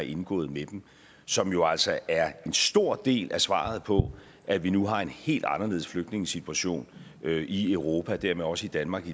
indgået med dem som jo altså er en stor del af svaret på at vi nu har en helt anderledes flygtningesituation i europa og dermed også i danmark